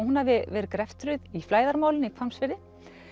hún hafi verið í flæðarmálinu í Hvammsfirði